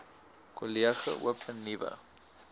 kollege open nuwe